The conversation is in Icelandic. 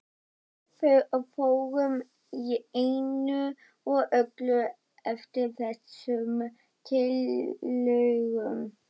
Við fórum í einu og öllu eftir þessum tillögum.